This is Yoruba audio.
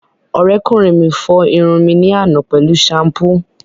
Ọ̀rẹ́kùnrin mi fọ irun mi ní àná pẹ̀lú ṣampú